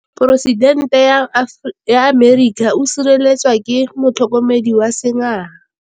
Poresitêntê wa Amerika o sireletswa ke motlhokomedi wa sengaga.